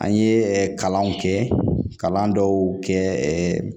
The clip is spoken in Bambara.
An ye kalanw kɛ kalan dɔw kɛ ɛɛ